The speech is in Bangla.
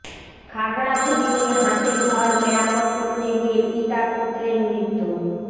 খাগড়াছড়িতে হাঁসের ঘর মেরামত করতে গিয়ে পিতা পুত্রের মৃত্যু